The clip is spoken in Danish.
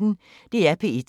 DR P1